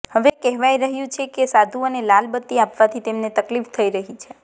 હવે કહેવાય રહ્યું છે કે સાધુઓને લાલબત્તી આપવાથી તેમને તકલીફ થઈ રહી છે